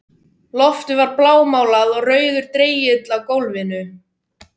Loftið var blámálað og rauður dregill á gólfinu.